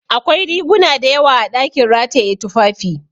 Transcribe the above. Akwai riguna dayawa a ɗakin rataye tufafi